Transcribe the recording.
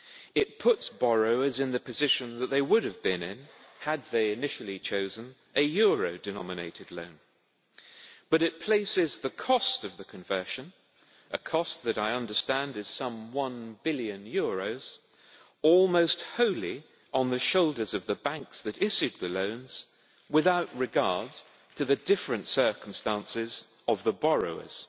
It puts borrowers in the position that they would have been had they initially chosen a euro denominated loan, but it places the cost of the conversion, a cost that I understand is some EUR 1 billion, almost wholly on the shoulders of the banks that issued the loans without regard to the different circumstances of the borrowers.